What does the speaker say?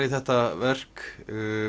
í þetta verk